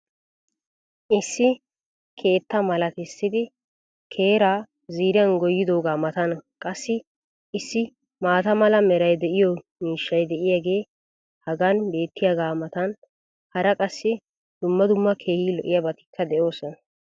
issi keettaa malattissidi keraa ziiriyan goyidoogaa matan qassi issi maata mala meray de'iyo miishshay diyaagee hagan beetiyaagaa matan hara qassi dumma dumma keehi lo'iyaabatikka de'oosona.